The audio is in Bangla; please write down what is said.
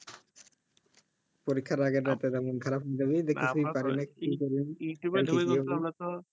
পরীক্ষার আগের রাতে যে মন খারাপ হয়ে যাবে যে কিছুই পারি না কি করি youtube এ ধুকে গেলে তো আমরা তো